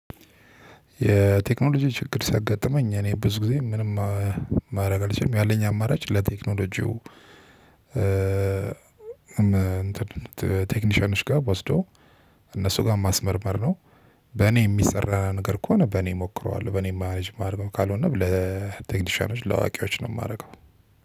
የቴክኖሎጂ ችግር ሲያጋጥመኝ እኔ ብዙ ጊዜ ምንም ማድረግ አልችልም ያለኝ አማራጭ ለቴክኖሎጂው ቴክኒሽያኖች ጋር ወስዶ እነሱ ጋር ማስመርመር ነው። በኔ የሚሰራ ነገር ከሆነ በኔ እሞክረዋለው በኔ የማልችል ከሆነም በ ቴክኒሽያኖች ለአዋቂዎች ነው የማደርገው።